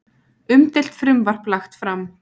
Umdeilt frumvarp lagt fram